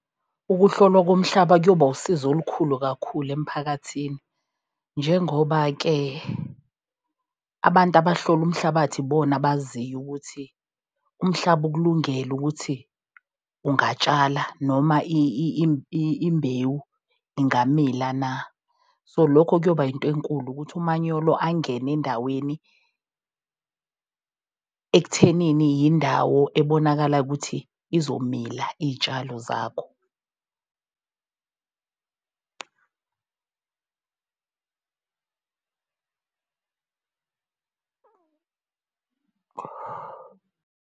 Ukuhlolwa komhlaba kuyoba usizo olukhulu kakhulu emphakathini. Njengoba-ke abantu abahlola umhlabathi ibona abaziyo ukuthi umhlaba ukulungele ukuthi ungatshala noma imbewu ingamila na. So lokho kuyoba into enkulu ukuthi umanyolo angene endaweni ekuthenini yindawo ebonakalayo ukuthi izomila iy'tshalo zakho.